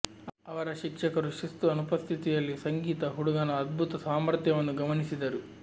ಅವರ ಶಿಕ್ಷಕರು ಶಿಸ್ತು ಅನುಪಸ್ಥಿತಿಯಲ್ಲಿ ಸಂಗೀತ ಹುಡುಗನ ಅದ್ಭುತ ಸಾಮರ್ಥ್ಯವನ್ನು ಗಮನಿಸಿದರು